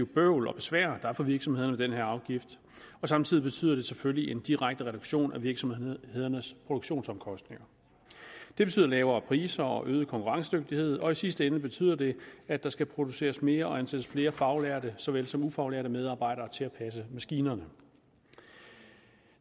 bøvl og besvær der er for virksomhederne med den her afgift samtidig betyder det selvfølgelig en direkte reduktion af virksomhedernes produktionsomkostninger det betyder lavere priser og øget konkurrencedygtighed og i sidste ende betyder det at der skal produceres mere og ansættes flere faglærte så vel som ufaglærte medarbejdere til at passe maskinerne